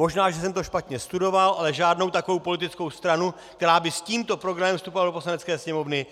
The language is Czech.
Možná že jsem to špatně studoval, ale žádnou takovou politickou stranu, která by s tímto programem vstupovala do Poslanecké sněmovny,